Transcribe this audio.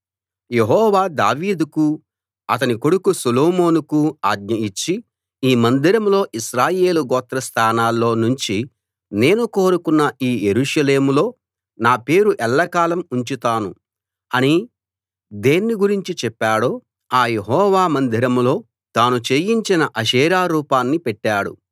యెహోవా దావీదుకు అతని కొడుకు సొలొమోనుకు ఆజ్ఞ ఇచ్చి ఈ మందిరంలో ఇశ్రాయేలు గోత్రస్దానాల్లో నుంచి నేను కోరుకున్న ఈ యెరూషలేములో నా పేరు ఎల్లకాలం ఉంచుతాను అని దేన్నీ గురించి చెప్పాడో ఆ యెహోవా మందిరంలో తాను చేయించిన అషేరా రూపాన్ని పెట్టాడు